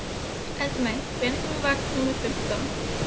Eldmey, hvenær kemur vagn númer fimmtán?